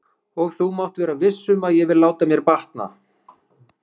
Og þú mátt vera viss um að ég vil láta mér batna.